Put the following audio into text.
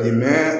N'a